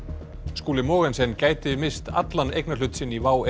Skúli Mogensen gæti misst allan eignarhlut sinn í WOW